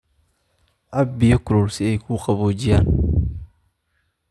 Cab biyo kulul si ay kuu qaboojiyaan.